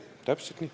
Täpselt nii.